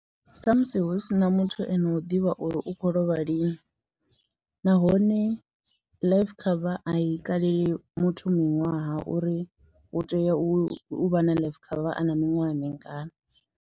Sa musi hu sina muthu eno u ḓivha uri u kho lovha lini, nahone life cover a i kaleli muthu miṅwaha uri hu tea u vha na life cover a na miṅwaha mingana.